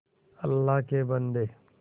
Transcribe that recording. अल्लाह के बन्दे